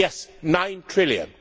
Yes, nine trillion.